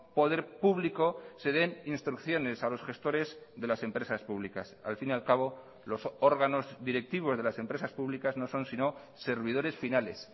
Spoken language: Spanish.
poder público se den instrucciones a los gestores de las empresas públicas al fin y al cabo los órganos directivos de las empresas públicas no son sino servidores finales